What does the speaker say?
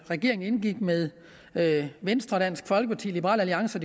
regeringen indgik med med venstre dansk folkeparti liberal alliance